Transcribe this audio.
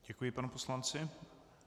Děkuji panu poslanci.